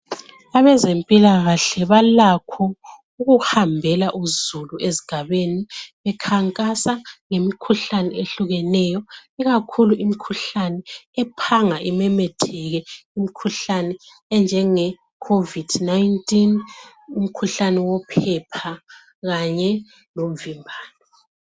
Abezempilakahle balakho ukuhambela uzulu esigabeni bekhankasa ngemikhuhlane eyehlukeneyo ikakhulu imikhuhlane ephanga imemetheke imikhuhlane enjenge covid 19 imikhuhlane yophepha kanye lomvimbano.